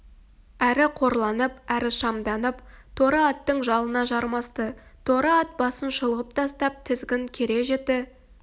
әрі қорланып әрі шамданып торы аттың жалына жармасты торы ат басын шұлғып тастап тізгін кере жіті